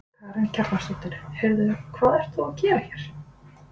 Karen Kjartansdóttir: Heyrðu hvað ert þú að gera hér?